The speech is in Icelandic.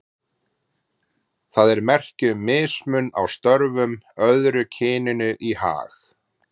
Það er merki um mismunun á störfum, öðru kyninu í hag.